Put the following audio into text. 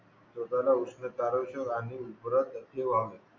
स्वतःला उष्णकारक आणि उब्रा असे व्हावे